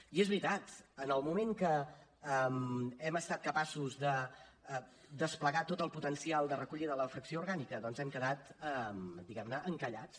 i és veritat en el moment que hem estat capaços de desplegar tot el potencial de recollida de la fracció orgànica doncs hem quedat diguem ne encallats